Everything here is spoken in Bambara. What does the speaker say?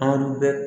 An bɛ